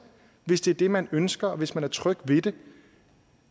hvis det er det man ønsker og hvis man er tryg ved det